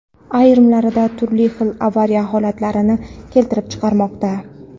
ayrimlarida turli xil avariya holatlarini keltirib chiqarmoqda.